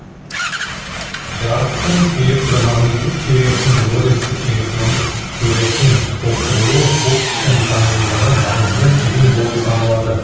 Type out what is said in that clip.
жарықтың электро магниттік теориясының лоренцтің электрондық теориясымен толықтырылуы оптиканың дамуындағы маңызды кезең болып саналады